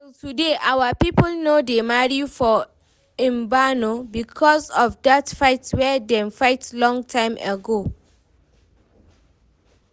Till today our people no dey marry for Mbano because of that fight wey dem fight long time ago